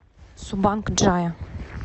субанг джая